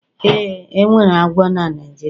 Ee, enwere agwọ na Naijiria